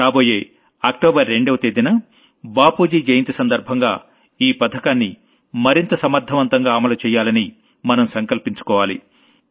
రాబోయే అక్టోబర్ 2వ తేదీన బాపూజీ జయంతి సందర్భంగా ఈ పథకాన్ని మరింత సమర్థవంతంగా అమలు చెయ్యాలని మనం సంకల్పించుకోవాలి